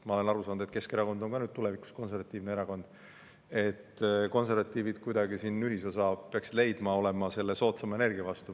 Ma olen aru saanud, et Keskerakond on tulevikus ka konservatiivne erakond, ja konservatiivid peaksid siin kuidagi ühisosa leidma, olema selle soodsama energia vastu.